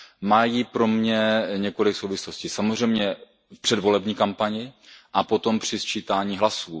Mají pro mě několik souvislostí, samozřejmě v předvolební kampani a potom při sčítání hlasů.